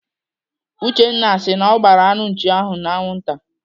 Uchenna si na ọ gbaara anụ nchi ahụ n'anwụ taa.